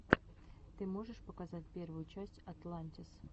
ты можешь показать первую часть атлантис